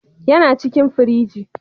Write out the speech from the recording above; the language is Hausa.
Yana cikin firigi.